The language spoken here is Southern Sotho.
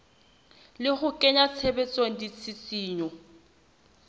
le ho kenya tshebetsong ditshisinyo